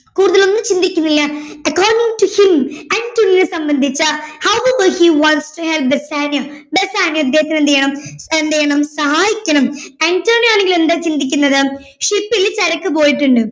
കൂടുതലൊന്നും ചിന്തിക്കുന്നില്ല according to him അന്റോണിയോയെ സംബന്ധിച് how able he wants to help Bassanio ബെസാനിയോയെ ഇദ്ദേഹത്തിന് എന്ത് ചെയ്യണം എന്ത് ചെയ്യണം സഹായിക്കണം അന്റോണിയോ അല്ലെങ്കിൽ എന്താ ചിന്തിക്കുന്നത് ship ൽ ചരക്ക് പോയിട്ടുണ്ട്